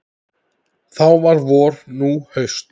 Þá var vor, nú haust.